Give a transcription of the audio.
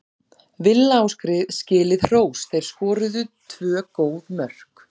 Villa á skilið hrós, þeir skoruðu tvö góð mörk.